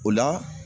O la